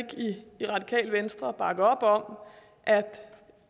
radikale venstre ikke bakke op om at